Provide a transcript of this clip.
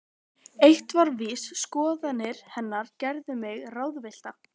Eitt var víst: Skoðanir hennar gerðu mig ráðvillta.